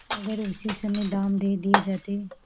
अगर उसी समय दाम दे दिये जाते